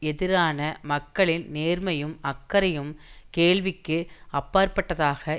எதிரான மக்களின் நேர்மையும் அக்கறையும் கேள்விக்கு அப்பாற்பட்டதாக